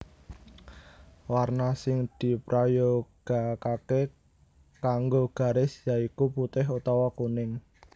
Warna sing diprayogakaké kanggo garis ya iku putih utawa kuning